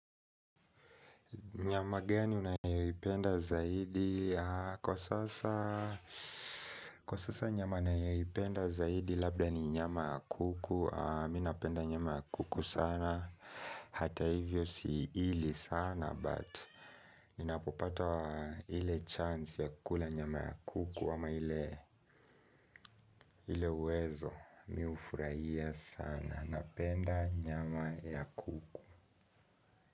Nyama gani unayoipenda zaidi? Kwa sasa Kwa sasa nyama nayo ipenda zaidi Labda ni nyama ya kuku mi napenda nyama ya kuku sana Hata hivyo siili sana But ninapopata ile chance ya kula nyama ya kuku sma ile uwezo mi hufurahia sana napenda nyama ya kuku.